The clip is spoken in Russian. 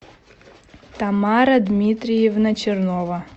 тамара дмитриевна чернова